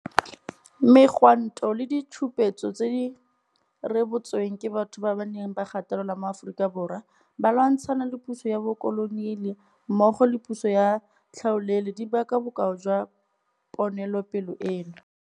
Megwanto le ditshupetso tse di rebotsweng ke batho ba ba neng ba gatelelwa mo Aforika Borwa ba lwantshana le puso ya bokoloniale mmogo le puso ya tlhaolele di paka bokao jwa ponelopele eno.